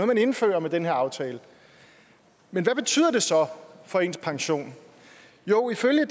man indfører med den her aftale men hvad betyder det så for ens pension jo ifølge